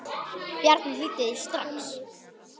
Bjarni hlýddi því strax.